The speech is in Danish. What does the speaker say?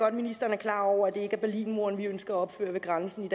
at ministeren er klar over at det ikke er berlinmuren vi ønsker at opføre ved grænsen